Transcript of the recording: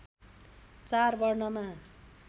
चार वर्णमा